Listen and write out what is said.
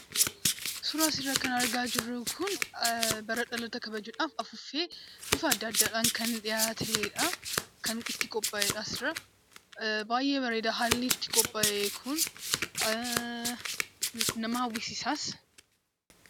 Suuraan as irratti argaa jirru kuni, bara dhaloota kabajuudha. Afuufee bifa adda addaan kan dhiyaateedha. Kan itti qopha'eedha as irraa. Baay'ee bareeda haalli itti qophaa'ee kun. Nama hawwisiisas.